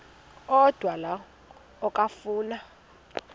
odwa la okafuna